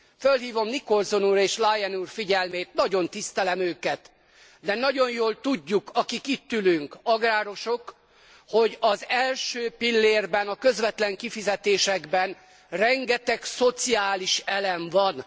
Fölhívom Nicholson úr és Lyon úr figyelmét nagyon tisztelem őket de nagyon jól tudjuk, akik itt ülünk agrárosok, hogy az első pillérben a közvetlen kifizetésekben rengeteg szociális elem van.